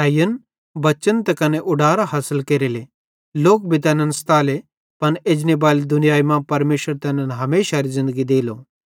हेईयन बच्चन त कने उडारां हासिल केरेले लोक भी तैनन् सताले पन एजनेबाली दुनियाई मां परमेशर तैनन् हमेशारी ज़िन्दगी देलो